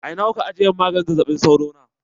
A ina kuka ajiye min maganin zazzaɓi sauro na?